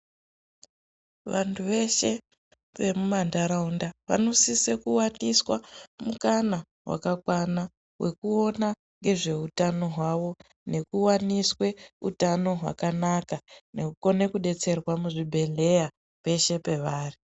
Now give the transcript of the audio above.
Vantu vese vemumanharaunda vanosise kuwaniswa mukana vakakwana wekuona ngezvehutano hwawo, nekuwaniswe hutano hwakanaka nekukone kudetserwa kuzvibhedhlera pese pawari.